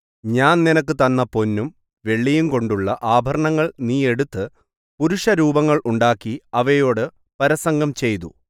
ഞാൻ നിനക്ക് തന്ന പൊന്നും വെള്ളിയും കൊണ്ടുള്ള ആഭരണങ്ങൾ നീ എടുത്ത് പുരുഷരൂപങ്ങൾ ഉണ്ടാക്കി അവയോടു പരസംഗം ചെയ്തു